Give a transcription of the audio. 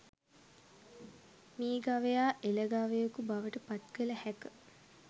මී ගවයා එළ ගවයකු බවට පත් කළ හැක